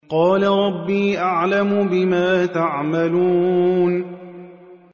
قَالَ رَبِّي أَعْلَمُ بِمَا تَعْمَلُونَ